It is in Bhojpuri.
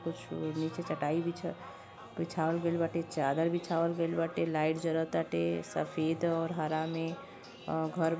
कुछ नीचे चटाई बिछ बिछावल गइल बाटे। चादर बिछावल गइल बाटे। लाइट जरताटे सफेद और हरा में। अ घर बा --